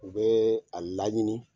U bɛ a laɲini.